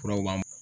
Furaw b'an